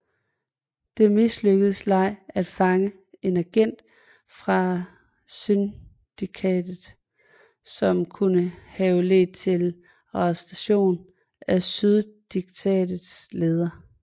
Det mislykkedes Lei at fange en agent fra syndikatet som kunne have ledt til arrestationen af syndikatets leder